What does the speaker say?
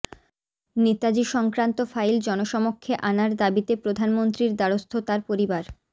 নেতাজি সংক্রান্ত ফাইল জনসমক্ষে আনার দাবিতে প্রধানমন্ত্রীর দ্বারস্থ তাঁর পরিবার